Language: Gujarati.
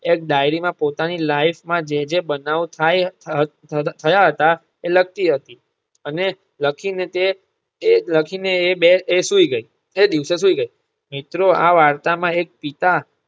એક ડાઈરી માં પોતાની life માં જે જે બનાવ થાય થયા હતા એ લખતી હતી અને લખી ને તે તે લખી ને એ બે સૂઈ ગઈ તે દિવસે સૂઈ ગઈ. મિત્રો આ વાર્તા માં એક પિતા